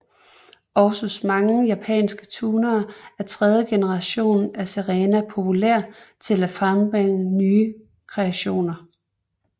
Også hos mange japanske tunere er tredje generation af Serena populær til at frembringe nye kreationer